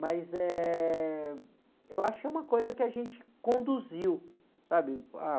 Mas eh, eu acho que é uma coisa que a gente conduziu, sabe?